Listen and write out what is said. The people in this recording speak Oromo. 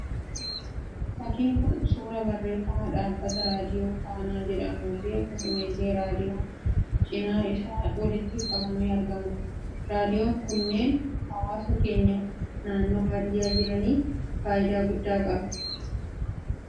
Fakkiin Kun, suuraa barreeffama dhaabbata raadiyoo faanaa jedhamuu fi akkasuma illee raadiyoon cinaa isaa walitti qabamee argamudha. Raadiyoon kunneen hawaasa keenya naannoo baadiyyaa jiraataniif fayidaa guddaa qaba. Naannoo keessanitti raadiyoon Saatii akkamii dhaggeeffatama?